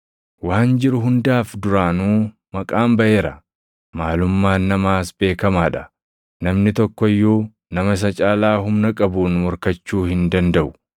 Waan jiru hundaaf duraanuu maqaan baʼeera; maalummaan namaas beekamaa dha; namni tokko iyyuu nama isa caalaa humna qabuun morkachuu hin dandaʼu.